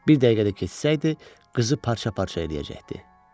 Bir dəqiqə də keçsəydi, qızı parça-parça eləyəcəkdi.